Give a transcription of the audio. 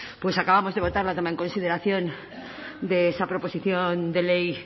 pues acabamos de votar la toma en consideración de esa proposición de ley